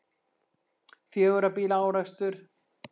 Fjögurra bíla árekstur